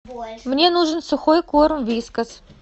мне нужен сухой корм вискас